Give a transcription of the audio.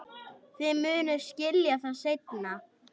Þið munuð skilja það seinna.